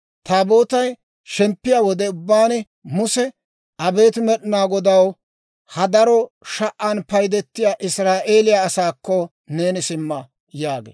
Taabootay shemppiyaa wode ubbaan Muse, «Abeet Med'inaa Godaw, ha daro sha"an paydetiyaa Israa'eeliyaa asaakko neeni simma» yaagee.